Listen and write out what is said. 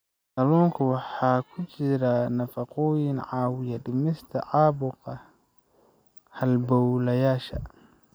Kalluunka waxaa ku jira nafaqooyin caawiya dhimista caabuqa halbowlayaasha.